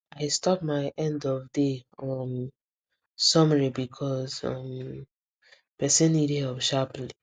i stop my end of day um summary because um person need help sharply